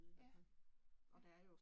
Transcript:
Ja. Ja